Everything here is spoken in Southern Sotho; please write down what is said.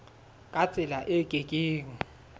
ka tsela e ke keng